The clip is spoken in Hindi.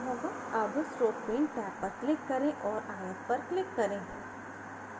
tab stroke paint टैब पर click करें और आयत पर click करें